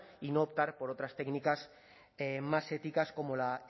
y no optar por otras técnicas más éticas como la